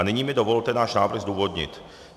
A nyní mi dovolte náš návrh zdůvodnit.